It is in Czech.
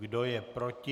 Kdo je proti?